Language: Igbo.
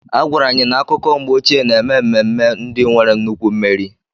A gwara anyị na akụkọ mgbe ochie na-eme ememme ndị nwere nnukwu mmeri.